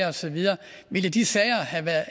og så videre ville de sager